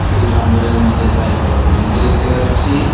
এই জঙ্গলের মধ্যে কয়েকটা হরিণকে দেখতে পাচ্ছি।